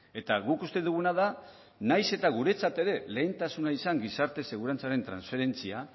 eta guk uste duguna da nahiz eta guretzat ere lehentasuna izan gizarte segurantzaren transferentzia